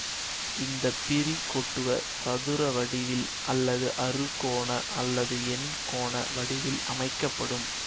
இந்த பிரி கொட்டுவ சதுர வடிவில் அல்லது அறுகோண அல்லது எண்கோண வடிவில் அமைக்க படும்